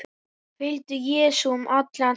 Fylgdu Jesú um allan heim